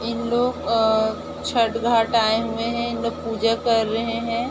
इन लोग अ छठ घाट आएं हुए हैं इन लोग पूजा कर रहें हैं।